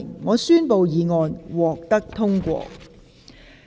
我宣布議案獲得通過。